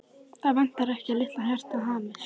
Það vantar ekki að litla hjartað hamist.